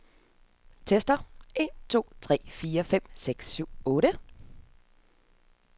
Tester en to tre fire fem seks syv otte.